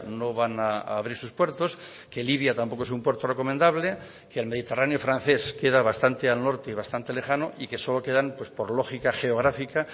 no van a abrir sus puertos que libia tampoco es un puerto recomendable que el mediterráneo francés queda bastante al norte y bastante lejano y que solo quedan por lógica geográfica